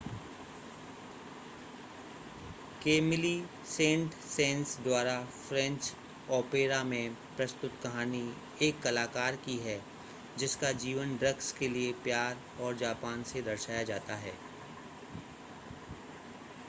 Camillo Saint-Saens द्वारा opera ऑपेरा में प्रस्तुत कहानी एक कलाकार की है जिसका जीवन ड्रग्स के लिए प्यार और जापान से दर्शाया जाता है